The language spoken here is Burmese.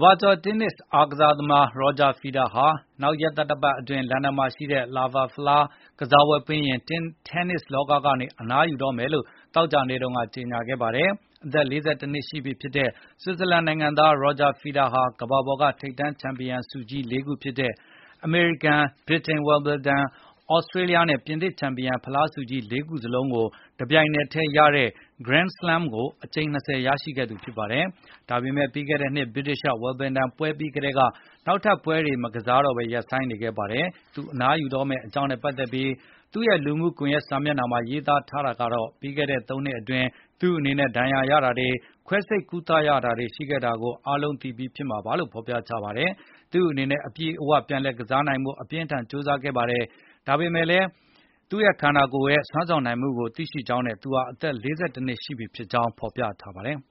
ဘာကျာ် တင်းနစ် ကစားသမား Roger Federer ဟာ နောက်ရက်သတ္တပတ်အတွင်း လန်ဒန် Laver ဖလား ကစားပွဲပြီးရင် တင်းနစ် လောက ကနေ အနားယူတော့မယ်လို့ သောကြာနေ့တုန်းက ကြေငြာလိုက်ပါတယ်။ အသက် ၄၁ နှစ်ရှိပြီဖြစ်တဲ ဆွစ်ဇာလန်နိုင်ငံသား Roger Federer ဟာ ကမ္ဘာပေါ်က ထိပ်တန်း ချန်ပီယံဆုကြီး ၄ ခုဖြစ်တဲ့ အမေရိကန်၊ ဗြိတိန် Wimbledon ၊ သြစတြေးလျားနဲ့ ပြင်သစ် ချန်ပီယံဖလား ဆုကြီး ၄ ခု စလုံးကို တပြိုင်နက်ထဲ ရတဲ့ Grand Slam ဆုကို အကြိမ် (၂၀) ရရှိခဲ့သူ ဖြစ်ပါတယ်။ ဒါပေမယ့် ပြီးခဲ့တဲ့နှစ် ဗြိတိန် Wimbledon ပွဲ ပြီးကတည်းက နောက်ထပ်ပွဲတွေ မကစားတော့ပဲ ရပ်နားနေခဲ့တာပါ။ သူ အနားယူတော့မယ့် အကြောင်းနဲ့ပတ်သက်ပြီး သူ့ရဲ့လူမှုကွန်ယက် စာမျက်နှာမှာ ရေးသားထားတာကတော့ - ပြီးခဲ့တဲ့ ၃ နှစ်အတွင်း သူ့အနေနဲ့ ဒဏ်ရာ ရတာတွေ၊ ခွဲစိပ် ကုသရတာတွေ ရှိခဲ့တာကို အားလုံးသိပြီးဖြစ်မှာပါလို့ ဖေါ်ပြထားပါတယ်။ သူ့အနေနဲ့ အပြည့်အဝ ပြန်လည် ကစားနိုင်ဖို့ အပြင်းအထန် ကြိုးစားခဲ့ပါတယ်။ ဒါပေမယ့် သူ့ရဲ့ ခန္ဓာကိုယ် စွမ်းဆောင်နိုင်တဲ့ အနေအထားကို သူသိကြောင်းနဲ့ သူဟာ အသက် ၄၁ နှစ်ရှိနေပါပြီလို့ ရေးသားဖေါ်ပြထားပါတယ်။